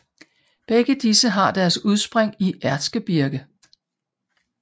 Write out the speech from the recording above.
Begge disse har deres udspring i Erzgebirge